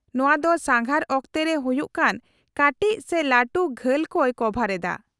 -ᱱᱚᱶᱟ ᱫᱚ ᱥᱟᱸᱜᱷᱟᱨ ᱚᱠᱛᱮ ᱨᱮ ᱦᱩᱭᱩᱜ ᱠᱟᱱ ᱠᱟᱹᱴᱤᱡ ᱥᱮ ᱞᱟᱹᱴᱩ ᱜᱷᱟᱹᱞ ᱠᱚᱭ ᱠᱚᱵᱷᱟᱨ ᱮᱫᱟ ᱾